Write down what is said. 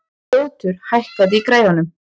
Ljótur, hækkaðu í græjunum.